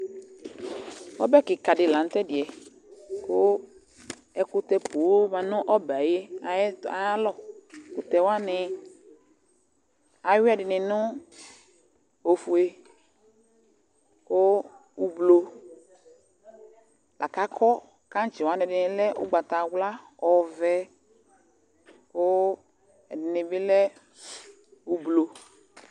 Ɔbɛ kɩka dɩ la nʋ tʋ ɛdɩ yɛ kʋ ɛkʋtɛ poo ma nʋ ɔbɛ yɛ ayɩ ayalɔ Ɛkʋtɛ wanɩ, ayʋɩ ɛdɩnɩ nʋ ofue kʋ ʋblo la kʋ akɔ kaŋtsɩ wanɩ ɛdɩnɩ lɛ ʋgbatawla, ɔvɛ kʋ ɛdɩnɩ bɩ lɛ ʋblo